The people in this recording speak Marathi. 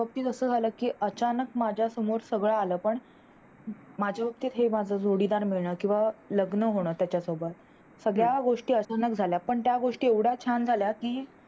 पण माझ्या बाबतीत असं झालं की अचानक माझ्या समोर सगळं आलं पण माझ्या बाबतीत हे झाल जोडीदार मिळण किंवा लग्न होण त्याचा सोबत सगळ्या गोष्टी अचानक झाल्या पण त्या गोष्टी एवढ्या छान झाल्या कि